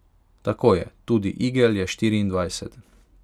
Tako je, tudi igel je štiriindvajset.